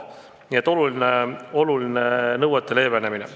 Nii et tuleb oluline nõuete leevenemine.